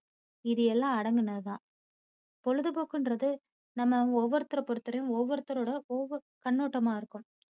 இது எல்லாம் அடங்குனது தான். பொழுதுபோக்குன்றது நம்ம ஒவ்வொருத்தரை பொறுத்த வரையும் ஒவ்வொருத்தரோட ஒவ்வொ~கண்ணோட்டமா இருக்கும்.